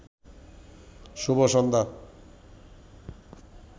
শুভ সন্ধ্যা